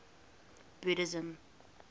buddhism